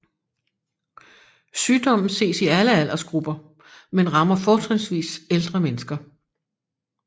Sygdommen ses i alle aldersgrupper men rammer fortrinsvis ældre mennesker